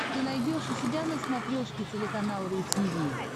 ты найдешь у себя на смотрешке телеканал ру ти ви